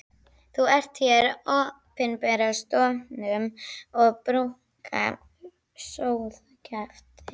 Þú ert hér í opinberri stofnun og brúkar sóðakjaft.